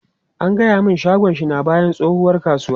An gaya mun shagon shi na bayan tsohuwar kasuwa.